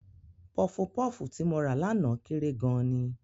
Pọfupọ́fù tí mo rà lánàá kéré gan-an ni.